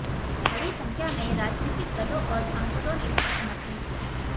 बड़ी संख्या में राजनीतिक दलों और सांसदों ने इसका समर्थन किया